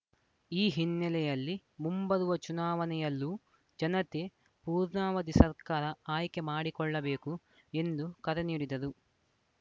ಈ ಹಿನ್ನೆಲೆಯಲ್ಲಿ ಮುಂಬರುವ ಚುನಾವಣೆಯಲ್ಲೂ ಜನತೆ ಪೂರ್ಣಾವಧಿ ಸರ್ಕಾರ ಆಯ್ಕೆ ಮಾಡಿಕೊಳ್ಳಬೇಕು ಎಂದು ಕರೆ ನೀಡಿದರು